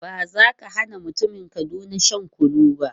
Ba za ka hana mutumin Kaduna shan kunu ba.